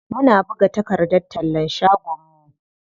Mun buga takardar tallan shagon mu.